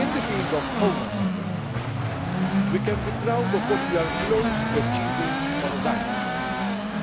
and the areas covered. In the field of home affairs, we can be proud of what we are close to achieving on asylum.